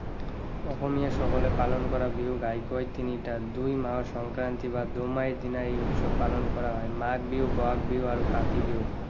অসমীয়া সকলে পালন কৰা বিহু ঘাঁইকৈ তিনিটা। দুই মাহৰ সংক্ৰান্তি বা দুমাহীৰ দিনা এই উৎসৱ পালন কৰা হয়। মাঘ বিহু, বহাগ বিহু আৰু কাতি বিহু।